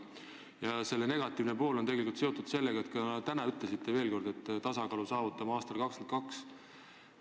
Ja selle negatiivne pool on seotud sellega, et te ütlesite täna veel kord, et me saavutame tasakaalu aastal 2022.